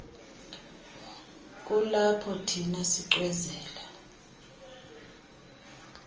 kulapho thina sicwezela